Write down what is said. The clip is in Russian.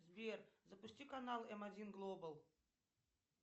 сбер запусти канал м один глобал